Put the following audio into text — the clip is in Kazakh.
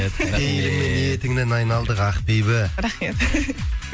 пейіліңнен ниетіңнен айналдық ақбибі рахмет